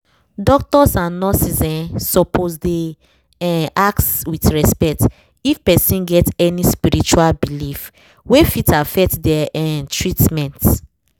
doctors and nurses um suppose dey um ask with respect if person get any spiritual belief wey fit affect their um treatment